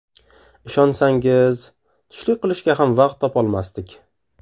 Ishonsangiz, tushlik qilishga ham vaqt topolmasdik.